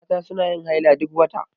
Mata suna yin haila duk wata.